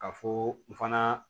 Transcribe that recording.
Ka fɔ n fana